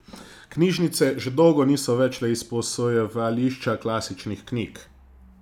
Knjižnice že dolgo niso več le izposojevališča klasičnih knjig.